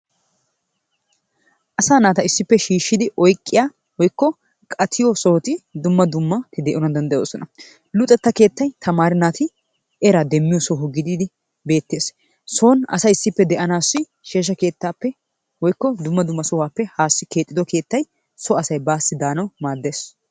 Asaa naata issippe shiishshidi oyqqiyaa woykko qachiyoo sohoti dumma dumma de"ana dandayoosona. Luxxetta keettay tamare naati eraa demmiyoo soho giididi betees. Son asay issippe de"anassi sheeshsha keettappe woykko dumma dumma sohuwaappe haassi keexxido keettay so asay baasi daanawu maaddees.